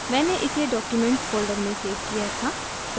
मैंने इसे documents folder में सेव किया था